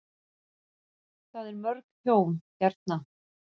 Það er mörg hjón hérna.